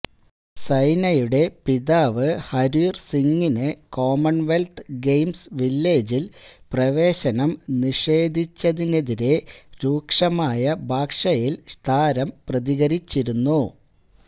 സൈനയുടെ പിതാവ് ഹര്വീര് സിംഗിന് Commonwealth Games വില്ലേജില് പ്രവേശനം നിഷേധിച്ചതിനെതിരെ രൂക്ഷമായ ഭാഷയില് താരം പ്രതികരിച്ചിരുന്നു